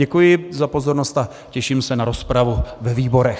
Děkuji za pozornost a těším se na rozpravu ve výborech.